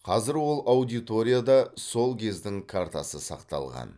қазір ол аудиторияда сол кездің картасы сақталған